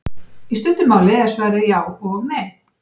Í stuttu máli er svarið já og nei.